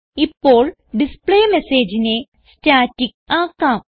ഇപ്പോൾ displayMessageനെ സ്റ്റാറ്റിക് ആക്കാം